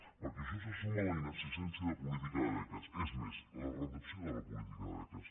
perquè a això s’hi suma la inexistència de política de beques és més la reducció de la política de beques